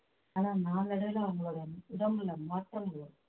ஆனா நாளடைவுல அவங்களோட உடம்புல மாற்றம் வரும்